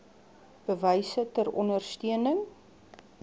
bewyse ter ondersteuning